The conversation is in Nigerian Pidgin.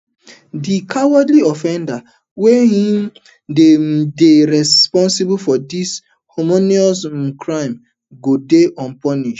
di cowardly offenders wey um dey um dey responsible for dis heinous um crimes go dey punished